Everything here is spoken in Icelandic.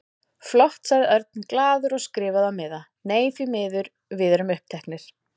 Flott sagði Örn glaður og skrifaði á miða: Nei, því miður, við erum uppteknir